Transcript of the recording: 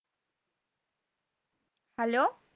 Hello